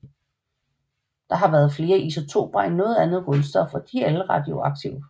Det har flere isotoper end noget andet grundstof og de er alle radioaktive